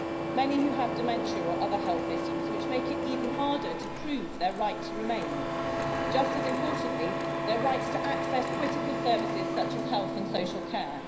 Many who have dementia or other health issues, which make it even harder to prove their right to remain just as importantly their rights to access critical services such as health and social care.